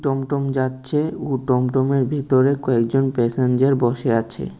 টুমটুম যাচ্ছে ও টুমটুমের ভিতরে কয়েকজন প্যাসেঞ্জার বসে আছে।